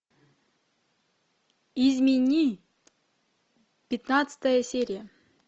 измени пятнадцатая серия